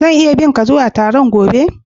Zan iya bi ka zuwa Taron gobe??